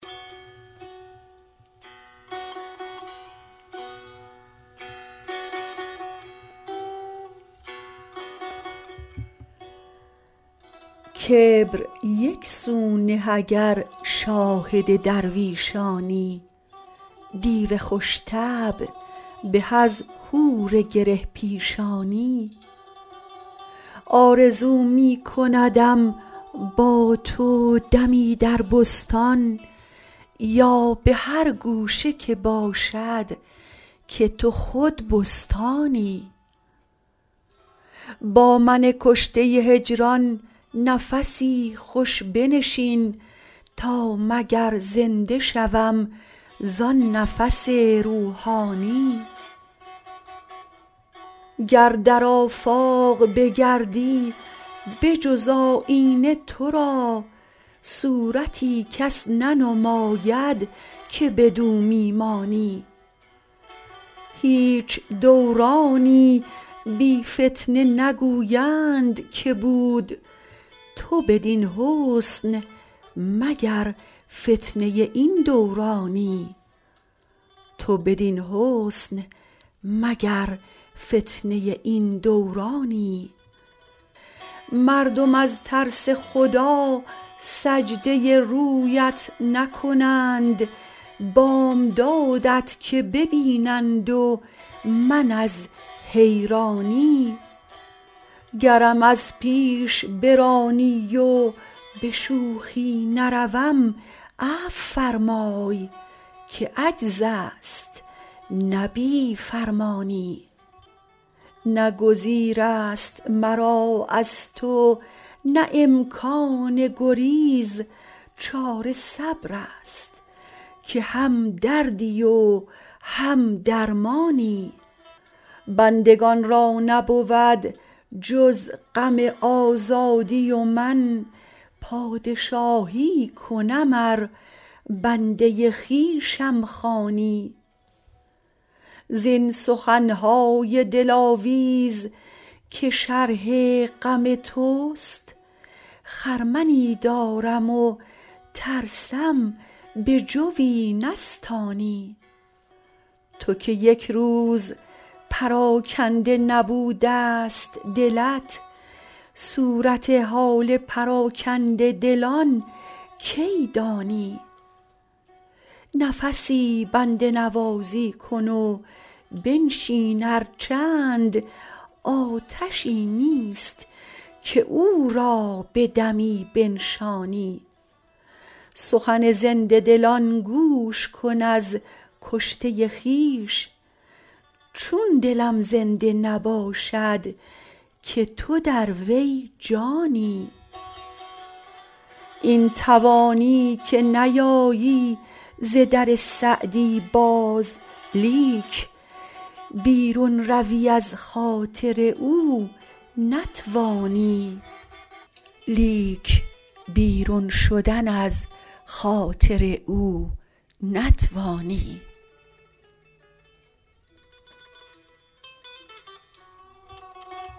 کبر یک سو نه اگر شاهد درویشانی دیو خوش طبع به از حور گره پیشانی آرزو می کندم با تو دمی در بستان یا به هر گوشه که باشد که تو خود بستانی با من کشته هجران نفسی خوش بنشین تا مگر زنده شوم زآن نفس روحانی گر در آفاق بگردی به جز آیینه تو را صورتی کس ننماید که بدو می مانی هیچ دورانی بی فتنه نگویند که بود تو بدین حسن مگر فتنه این دورانی مردم از ترس خدا سجده رویت نکنند بامدادت که ببینند و من از حیرانی گرم از پیش برانی و به شوخی نروم عفو فرمای که عجز است نه بی فرمانی نه گزیر است مرا از تو نه امکان گریز چاره صبر است که هم دردی و هم درمانی بندگان را نبود جز غم آزادی و من پادشاهی کنم ار بنده خویشم خوانی زین سخن های دلاویز که شرح غم توست خرمنی دارم و ترسم به جوی نستانی تو که یک روز پراکنده نبوده ست دلت صورت حال پراکنده دلان کی دانی نفسی بنده نوازی کن و بنشین ار چند آتشی نیست که او را به دمی بنشانی سخن زنده دلان گوش کن از کشته خویش چون دلم زنده نباشد که تو در وی جانی این توانی که نیایی ز در سعدی باز لیک بیرون روی از خاطر او نتوانی